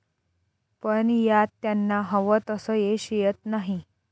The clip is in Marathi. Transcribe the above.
पण यात त्यांना हवं तसं यश येत नाही.